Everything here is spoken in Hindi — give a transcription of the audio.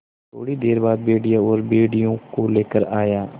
थोड़ी देर बाद भेड़िया और भेड़ियों को लेकर आया